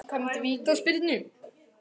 Framkvæmd vítaspyrnu?